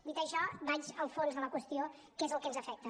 dit això vaig al fons de la qüestió que és el que ens afecta